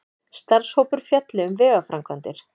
Starfshópur fjalli um vegaframkvæmdir